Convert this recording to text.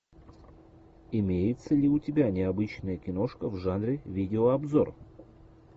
имеется ли у тебя необычная киношка в жанре видеообзор